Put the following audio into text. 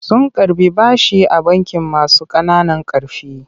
Sun karɓi bashi a bankin masu ƙananan ƙarfi.